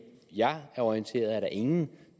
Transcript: jeg er orienteret er der ingen